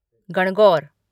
Gangaur